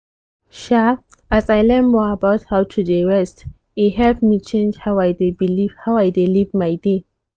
um as i learn more about how to dey rest e help me change how i dey live my day.